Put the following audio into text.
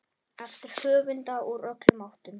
eftir höfunda úr öllum áttum.